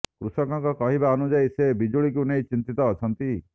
କୃଷକଙ୍କ କହିବା ଅନୁଯାୟୀ ସେ ବିଜୁଳିକୁ ନେଇ ଚିନ୍ତିତ ଅଛନ୍ତି